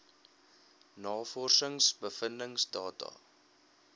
navorsings bevindings data